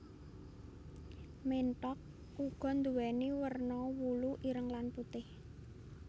Ménthok uga nduwèni werna wulu ireng lan putih